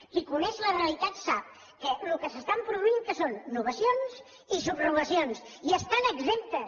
qui coneix la realitat sap que el que s’està produint què són novacions i subrogacions i n’estan exemptes